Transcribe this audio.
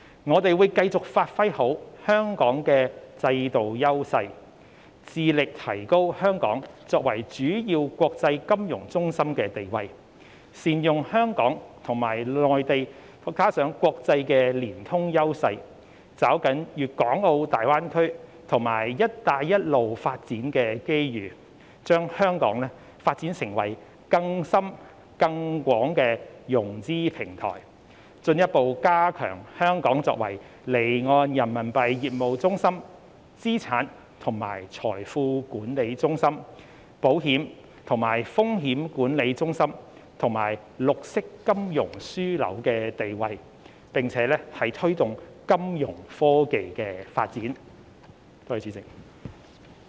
我們會繼續好好發揮香港的制度優勢，致力提高香港作為主要國際金融中心的地位，善用香港與內地以至國際的連通優勢，抓緊大灣區及"一帶一路"發展的機遇，將香港發展成更深更廣的融資平台，進一步加強香港作為離岸人民幣業務中心、資產及財富管理中心、保險及風險管理中心，以及綠色金融樞紐的地位，並推動金融科技的發展。